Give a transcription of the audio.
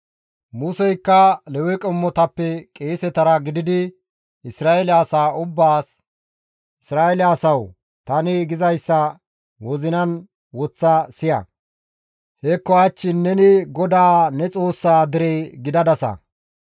Museykka Lewe qommotappe qeesetara gididi Isra7eele asaa ubbaas, «Isra7eele asawu tani gizayssa wozinan woththa siya; hekko hach neni GODAA ne Xoossaa dere gidadasa.